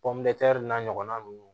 n'a ɲɔgɔnna nunnu